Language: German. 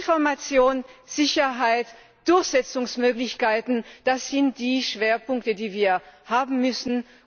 Information, Sicherheit, Durchsetzungsmöglichkeiten sind die Schwerpunkte, die wir setzen müssen.